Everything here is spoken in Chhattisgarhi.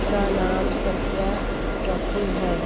उसका नाम सत्या ट्रैकिंग है।